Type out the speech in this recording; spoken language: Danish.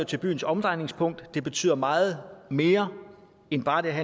til byens omdrejningspunkt det betyder meget mere end bare det at